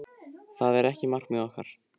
Það er ekki markmið okkar.